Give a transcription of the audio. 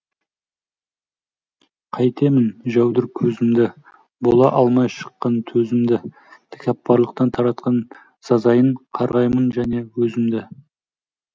қайтемін жәудір көзімді бола алмай шыққан төзімді тәкаппарлықтан тартқан сазайын қарғаймын және өзімді